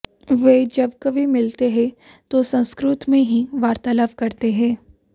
वे जब कभी मिलते हैं तो संस्कृत में ही वार्तालाप करते हैं